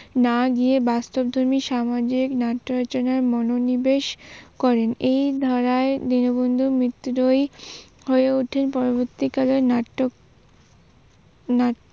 না গিয়ে বাস্তবধর্মী সামাজিক নাট্য রচনার মনোনিবেশ করেন। এই ধারায় দীনবন্ধু মিত্রই হয়ে উঠেন পরবর্তী কালের